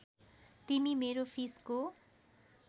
तिमी मेरो फिसको